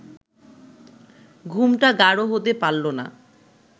ঘুমটা গাঢ় হতে পারল না